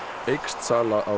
eykst sala á